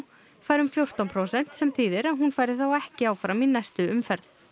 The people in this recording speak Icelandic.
fær um fjórtán prósent sem þýðir að hún færi þá ekki áfram í næstu umferð